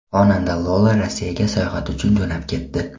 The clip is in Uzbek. Xonanda Lola Rossiyaga sayohat uchun jo‘nab ketdi.